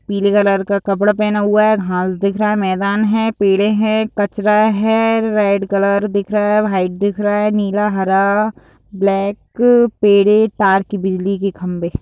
पीले कलर का कपड़ा पहना हुआ है घास दिख रहा है मैदान है पेड़े है कचरा है रेड कलर दिख रहा है व्हाइट दिख रहा है नीला हरा ब्लैक पेड़े ताड़ की बिजली की खंभे।